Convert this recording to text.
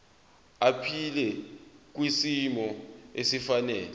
aphile kwisimo esifanele